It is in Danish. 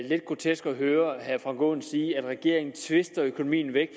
høre herre frank aaen sige at regeringen tvister økonomien væk